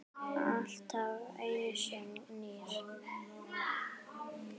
Alltaf einsog nýr.